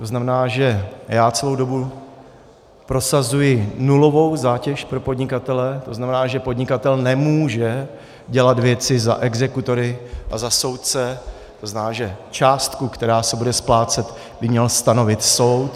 To znamená, že já celou dobu prosazuji nulovou zátěž pro podnikatele, to znamená, že podnikatel nemůže dělat věci za exekutory a za soudce, to znamená, že částku, která se bude splácet, by měl stanovit soud.